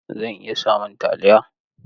Zan iya samun taliya?